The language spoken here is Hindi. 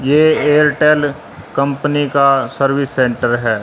ये एयरटेल कंपनी का सर्विस सेंटर है।